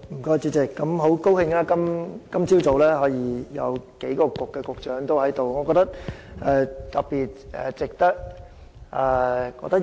很高興今早有數位局長同時在席，